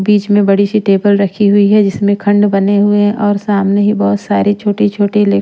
बीच में बड़ी सी टेबल रखी हुई है जिसमें खंड बने हुए हैं और सामने ही बहुत सारी छोटी-छोटी ले--